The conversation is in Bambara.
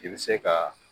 I bɛ se ka